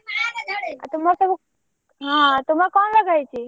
ଆଉ ତୁମର ସବୁ ହଁ ତୁମର କଣ ଲଗା ହେଇଛି?